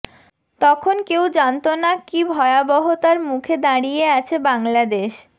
তখন কেউ জানতো না কী ভয়াবহতার মুখে দাঁড়িয়ে আছে বাংলাদেশ